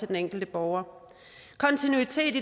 den enkelte borger kontinuitet